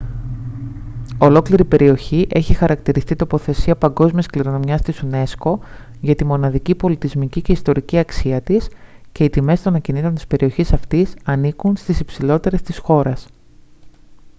ολόκληρη η περιοχή έχει χαρακτηριστεί τοποθεσία παγκόσμιας κληρονομιάς της unesco για τη μοναδική πολιτισμική και ιστορική αξία της και οι τιμές των ακινήτων της περιοχής αυτής ανήκουν στις υψηλότερες της χώρας